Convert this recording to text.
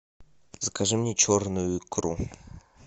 закажи мне черную икру